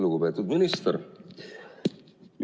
Lugupeetud minister!